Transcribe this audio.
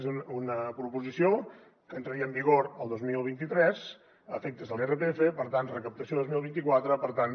és una proposició que entraria en vigor el dos mil vint tres a efectes de l’irpf per tant recaptació dos mil vint quatre per tant